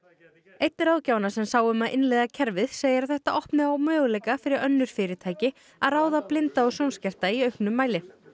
einn ráðgjafanna sem sáu um að innleiða kerfið segir að þetta opni á möguleika fyrir önnur fyrirtæki að ráða blinda eða sjónskerta í auknum mæli